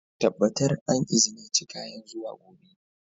Tabbatar an izinice kayan zuwa gobe!